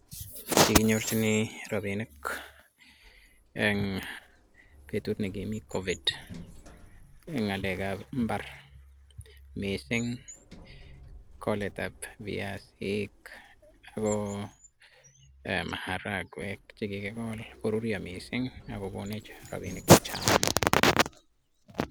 Kikinyorjini robinik eng betushek ab COVID eng imbar sikoboishe ketoretkei eng amishet